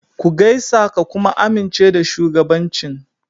Ku gaisa ka kuma amince da shugabancin.